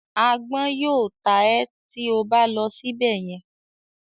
“Agbọ́n” yóò ta ẹ́ tí o bá lọ síbẹ̀ yẹn.